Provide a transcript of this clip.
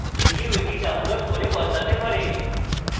যে কেউ এটি download করে বদলাতে পারে